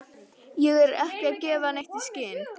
Ég er ekki að gefa neitt í skyn.